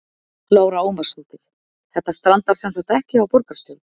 Lára Ómarsdóttir: Þetta strandar semsagt ekki á borgarstjórn?